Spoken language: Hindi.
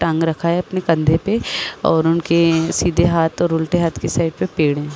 टांग रखा है अपने कंधे पे और उनके सीधे हाथ और उल्टे हाथ की साइड पे पेड़ है।